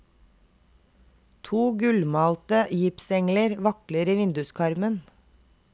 To gullmalte gipsengler vakler i vinduskarmen.